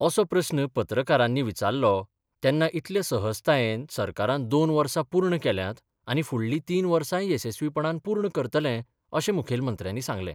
असो प्रस्न पत्रकारांनी विचारलो तेन्ना इतले सहजतायेन सरकारान दोन वर्सा पूर्ण केल्यात आनी फुडलीं तीन वर्साय येसस्वीपणान पूर्ण करतले अशें मुखेलमंत्र्यानी सांगलें.